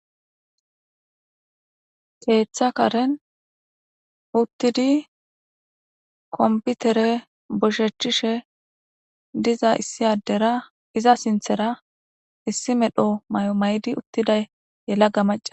Keeththa karen uttidi komputere boshechchishe diza issi addera iza sinthera issi medho may7o may7di uttiday yelaga maca